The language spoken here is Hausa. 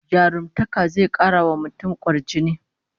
Jarumtaka zai kara wa mutum kwarjini